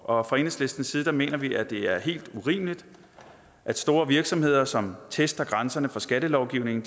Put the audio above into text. og fra enhedslistens side mener vi at det er helt urimeligt at store virksomheder som tester grænserne for skattelovgivningen